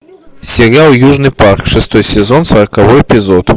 сериал южный парк шестой сезон сороковой эпизод